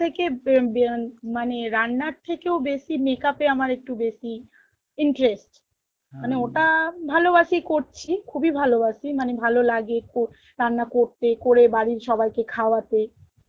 থেকে বে~ বেয়ান~ মানে রান্নার থেকেও বেশি makeup এ আমার একটু বেশি interest, ওটা ভালো বাসী করছি খুব ই ভালো বাসী মানে ভালো লাগে একটু রান্না করতে করে একটু বাড়ির সবাইকে খাওয়াতে